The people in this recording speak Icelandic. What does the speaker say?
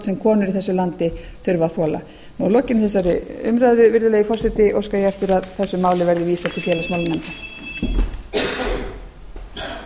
sem konur í þessu landi þurfa að þola að lokinni þessari umræðu virðulegi forseti óska ég eftir að þessu máli verði vísað til félagsmálanefndar